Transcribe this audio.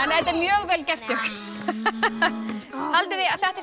þetta er mjög vel gert hjá ykkur haldið þið að þetta sé